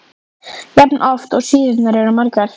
jafn oft og síðurnar eru margar.